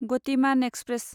Gatimaan express